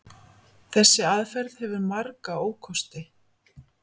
Þessi aðferð hefur marga ókosti.